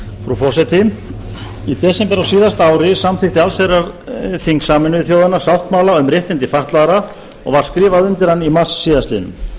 frú forseti í desember á síðasta ári samþykkti allsherjarþing sameinuðu þjóðanna sáttmála um réttindi fatlaðra og var skrifað undir hann í mars síðastliðinn